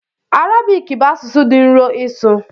Arabik bụ asụsụ dị nro ịsụ.